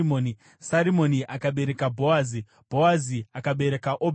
Sarimoni akabereka Bhoazi, Bhoazi akabereka Obhedhi,